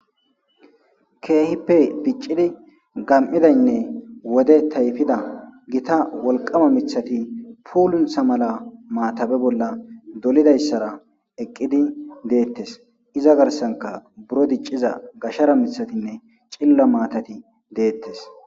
keehippe diccidi gam7idaynne wode tayfida gita wolqama mithati puuluntsha mala maatabe bolla dolidayssara eqqidi deettes iza garsanka buro dicciza gashara mithatinne cilla maatati deettes